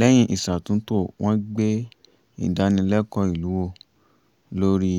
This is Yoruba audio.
lẹ́yìn ìṣàtúntò wọ́n gbé ìdánilẹkọ̀ọ́ ìlú wò lórí